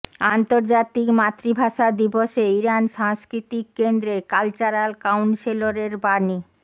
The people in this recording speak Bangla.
আন্তর্জাতিক মাতৃভাষা দিবসে ইরান সাংস্কৃতিক কেন্দ্রের কালচারাল কাউন্সেলরের বাণী